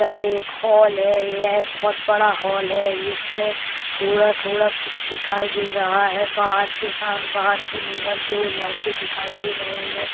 यह एक हॉल है| यह बहोत बड़ा हॉल है| इसमें थोड़ा-थोड़ा कुछ दिखाई दे रहा है| बाहर बाहर के नियर दो लड़के दिखाई दे रहे हैं।